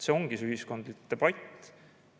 See ongi ühiskondlik debatt.